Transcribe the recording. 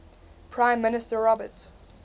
prime minister robert